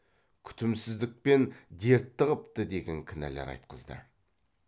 күтімсіздікпен дертті қыпты деген кінәлар айтқызды